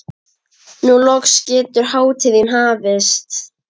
Nú loks getur hátíðin hafist.